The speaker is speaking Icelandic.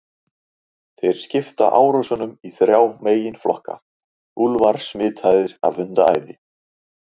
Þeir skipta árásunum í þrjá meginflokka: Úlfar smitaðir af hundaæði.